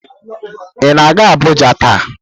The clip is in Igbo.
Ị na-aga Abuja taa?